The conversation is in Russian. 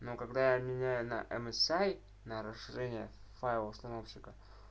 ну когда я меняю на мсай на расширение файла установщика